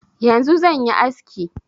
Yanzu zan yi aski.